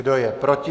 Kdo je proti?